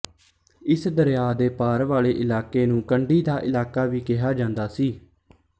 ਇਸ ਦਰਿਆ ਦੇ ਪਾਰ ਵਾਲੇ ਇਲਾਕੇ ਨੂੰ ਕੰਢੀ ਦਾ ਇਲਾਕਾ ਵੀ ਕਿਹਾ ਜਾਂਦਾ ਸੀ